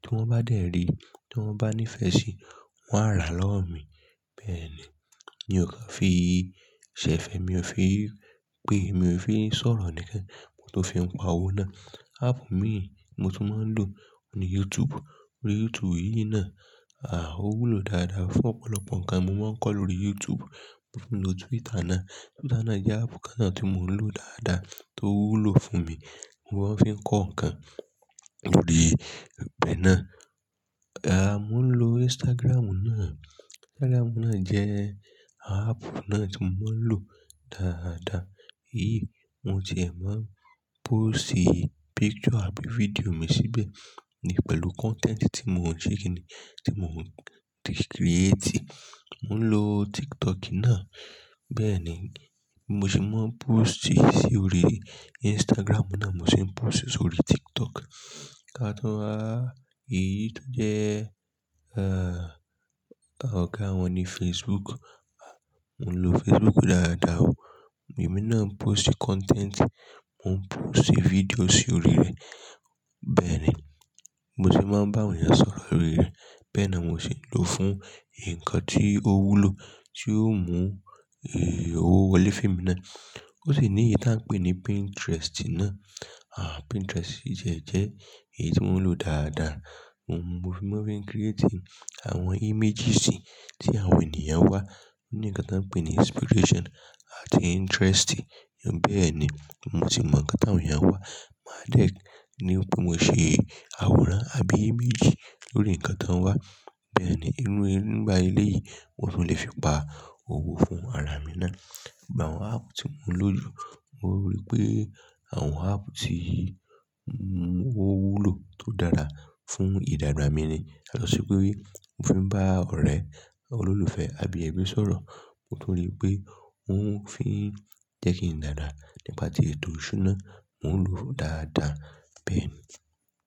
tí wọ́n bá dẹ̀ rí, tí wọ́n bá nífẹ̀ẹ́ sí i, wọ́n á ra lọ́wọ́ mi. Bẹ́ẹ̀ ni, ni o kàn fi ṣẹ fẹ mi ò fi pé mi ò fi sọ̀rọ̀ nìkan, mo tó fi ń pa owó náà. Áàpù mi mo tún máa ń lò, òun ni YouTube. YouTube yìí náà, à, ó wúlò dáadáa fún ọ̀pọ̀lọpọ̀ ǹkan mo máa ń kọ́ lórí YouTube. Mo ń lo Twitter náà. Twitter náà jẹ́ áàpù kan tí mò ń lò dáadáa tó wúlò fún mi. Mo máa ń fi ń kọ́ ǹkan lórí ibẹ̀ náà. À, mò ń lo Instagram náà. Instagram náà jẹ́ ààpù náà tí mò ń lò dáadáa. Yíì, mo ti e máa ń post picture àbí video mi síbẹ̀ ní pẹ̀lú content tí mò ń ṣe kini, tí mò ń ti create. Mò ń lo TikTok náà. Bẹ́ẹ̀ ni, mo sì máa ń post sí orí Instagram náà, mo sì ń post sí orí TikTok. Kátọ́ wá, èyí tó jẹ́, à, ọ̀gá wọn ni Facebook. À, mò ń lo Facebook dáadáa o. Èmi náà ń post content, mò ń post video sí orí rẹ̀. Bẹ́ẹ̀ ni, mo sì máa ń bá àwọn èèyàn sọ̀rọ̀ lórí rẹ̀. Bẹ́ẹ̀ na mò sì ń lò fún ǹkan tí ó wúlò, tí ó mú owó wọlé femi náà. Ó sì ní èyí tí à ń pè ní Pinterest náà. À, Pinterest yìí jẹ́ èyí tí mò ń lò dáadáa. Òun mo fi ń mo fi ń create àwọn images tí àwọn ènìyàn wá. Ní ǹkan tí à ń pè ní inspiration àti interest. Bẹ́ẹ̀ ni, mo sì mọ ǹkan tí àwọn èèyàn wá. Mà dẹ̀ ni wípé mo ṣe àwòrán àbí image lórí ǹkan tí wọ́n wá. Bẹ́ẹ̀ ni, inú nípa eléyìí, mo sì lè fi pa owó fún ara mi náà. Ìgbà àwọn áàpù tí mò ń lò jù, mò rí pé àwọn áàpù tí wúlò tó dára fún ìdàgbà mi ni. Yàtọ̀sí pé mò ń fi bá ọ̀rẹ́, àwọn olólùfẹ́ àbí ẹbí sọ̀rọ̀. Mo tún rí pé ó ń fi jẹ́ kí n dàgbà. Nípa tí ètò ìṣúná mò ń lò dáadáa. Bẹ́ẹ̀ ni.